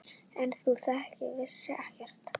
En þú vissir ekkert.